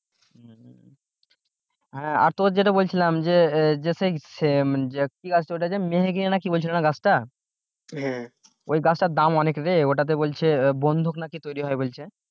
হ্যাঁ আর তোর যেটা বলছিলাম যে আহ যে সেই কি গাছ তা ওটা যে মেহেগিনি নাকি বলছিলি না গাছটা? ওই গাছটার দাম অনেক রে ওটাতে বলছে বন্দুক নাকি তৈরি হয় বলছে?